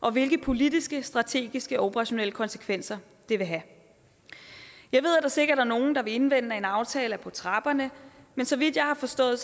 og hvilke politiske strategiske og operationelle konsekvenser det vil have jeg ved at der sikkert er nogle der vil indvende at en aftale er på trapperne men så vidt jeg har forstået